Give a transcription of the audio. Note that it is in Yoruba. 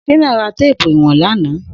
Shina rà téèpù iwọ̀n làná